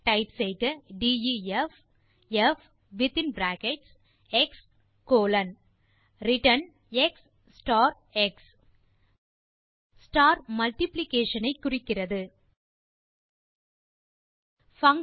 type செய்க def வித்தின் bracket x colon return x star x star குறிப்பது multiplication ஐ